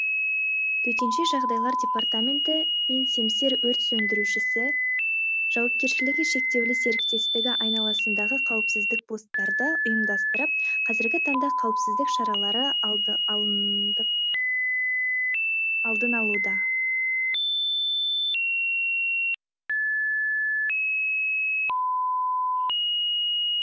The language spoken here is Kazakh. төтенше жағдайлар департаменті мен семсер өрт сөндіруші жшс айналасындағы қауіпсіздік посттарды ұйымдастырып қазіргі таңда қауіпсіздік шаралары алындын алуда